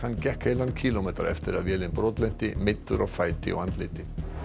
gekk heilan kílómetra eftir að vélin brotlenti meiddur á fæti og andliti